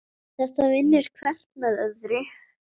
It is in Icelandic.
Þetta vinnur hvert með öðru.